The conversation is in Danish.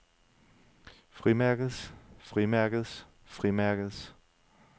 frimærkets frimærkets frimærkets